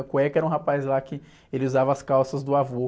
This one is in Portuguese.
Cueca era um rapaz lá que ele usava as calças do avô.